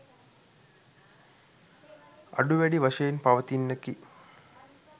අඩු වැඩි වශයෙන් පවතින්නකි.